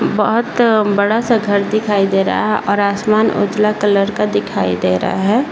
बहुत बड़ा सा घर दिखाई दे रहा है और आसमान उजला कलर का दिखाई दे रहा है ।